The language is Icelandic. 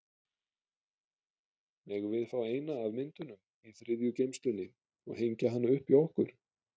Megum við fá eina af myndunum í þriðju geymslunni og hengja hana upp hjá okkur?